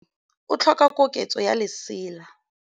o tlhoka koketsô ya lesela.